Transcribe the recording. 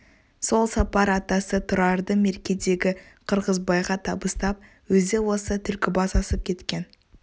сол сапар атасы тұрарды меркедегі қырғызбайға табыстап өзі осы түлкібас асып кеткен